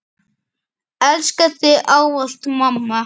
Elska þig ávallt mamma.